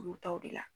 Olu taw de la